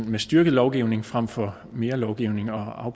en styrket lovgivning frem for mere lovgivning og